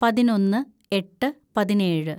പതിനൊന്ന് എട്ട് പതിനേഴ്‌